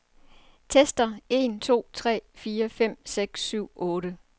Tester en to tre fire fem seks syv otte.